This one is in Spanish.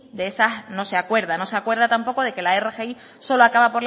de esas no se acuerda no se acuerda tampoco de que la rgi solo acaba